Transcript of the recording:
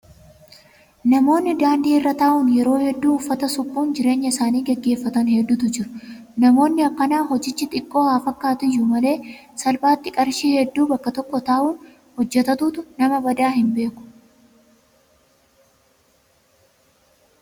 Namoonni daandii irra taa'uun yeroo hedduu uffata suphuun jireenya isaanii gaggeeffatan hedduutu jiru. Namoonni akkanaa hojichi xiqqoo haa fakkaatu iyyuu malee salphaatti qarshii hedduu bakka tokko taa'uun hojjatatu. Namni badaa hin beeku.